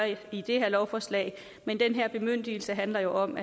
i det her lovforslag men den her bemyndigelse handler jo om